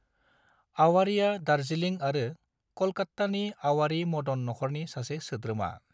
आवारीआ दार्जिलिं आरो कलकत्तानि आवारी-मदन नखरनि सासे सोद्रोमा।